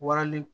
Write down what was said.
Warali